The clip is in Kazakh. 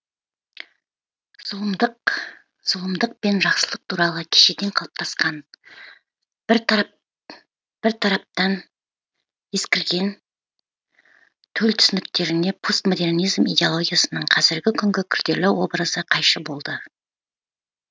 зұлымдық пен жақсылық туралы кешеден қалыптасқан бір тараптан ескірген төл түсініктеріне постмодернизм идеологиясының қазіргі күнгі күрделі образы қайшы болды